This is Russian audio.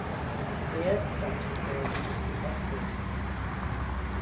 это психологический подход